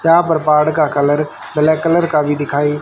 यहां पर पहाड़ का कलर ब्लैक कलर का भी दिखाइ--